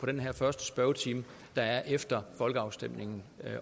den her første spørgetime efter folkeafstemningen